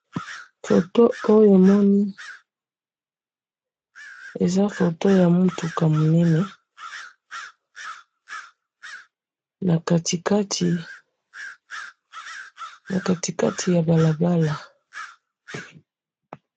photo oyo namoni, eza photo ya mutuka munene, na kati kati ya balabala